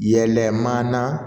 Yɛlɛmana